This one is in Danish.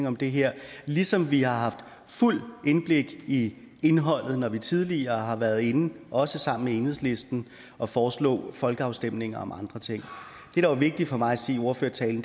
om det her ligesom vi har haft fuldt indblik i indholdet når vi tidligere har været inde også sammen med enhedslisten at foreslå folkeafstemninger om andre ting det der var vigtigt for mig at sige i ordførertalen